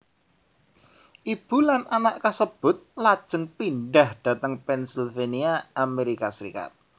Ibu lan anak kasebut lajeng pindhah dhateng Pennsylvania Amerika Serikat